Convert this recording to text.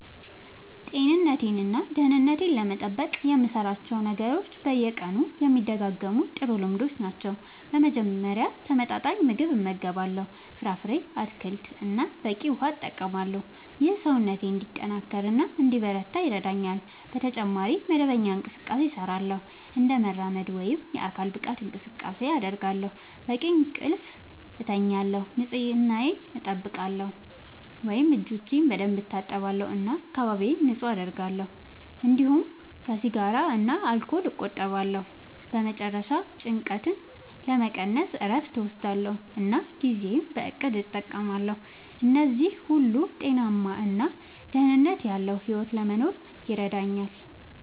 ጤንነቴን እና ደህንነቴን ለመጠበቅ የምሠራቸው ነገሮች በየቀኑ የሚደጋገሙ ጥሩ ልምዶች ናቸው። በመጀመሪያ ተመጣጣኝ ምግብ እመገባለሁ፣ ፍራፍሬ፣ አትክልት እና በቂ ውሃ እጠቀማለሁ። ይህ ሰውነቴን እንዲጠናከር እና እንዲበረታ ይረዳኛል። በተጨማሪ መደበኛ እንቅስቃሴ እሠራለሁ፣ እንደ መራመድ ወይም የአካል ብቃት እንቅስቃሴ አደርጋለሁ፣ በቂ እንቅልፍ እተኛለሁ፣ ንጽህናየን አጠብቃለሁ (እጆቼን በደንብ እታጠባለሁ እና አካባቢዬን ንጹህ አደርጋለሁ)፤እንዲሁም ከሲጋራ እና ከአልኮል እቆጠባለሁ። በመጨረሻ ጭንቀትን ለመቀነስ እረፍት እወስዳለሁ እና ጊዜዬን በእቅድ እጠቀማለሁ። እነዚህ ሁሉ ጤናማ እና ደህንነት ያለዉ ሕይወት ለመኖር ይረዳኛል።